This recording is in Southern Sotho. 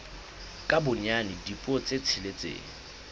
ka bonyane dipuo tse tsheletseng